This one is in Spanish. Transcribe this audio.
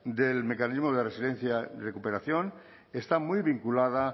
del mecanismo de resiliencia y recuperación está muy vinculada